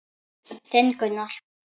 Þinn Gunnar.